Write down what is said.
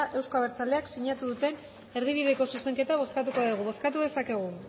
euzko abertzaleak sinatu duten erdibideko zuzenketa bozkatuko dugu bozkatu dezakegu